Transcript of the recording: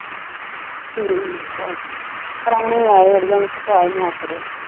ਠੀਕ ਆ ਪ੍ਰੋਹਣੇ ਆਏ ਅੜੀਏ ਓਹਨਾ ਖਪਾਹ ਈ ਮਾਰ ਛੱਡਿਆ।